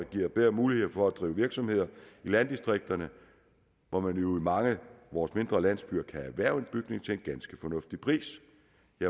giver bedre mulighed for at drive virksomheder i landdistrikterne hvor man jo i mange af vores mindre landsbyer kan erhverve en bygning til en ganske fornuftig pris